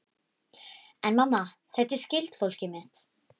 En mamma, þetta er skyldfólkið mitt.